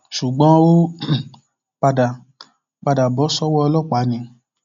ṣùgbọn ó um padà padà bọ sọwọ ọlọpàá ni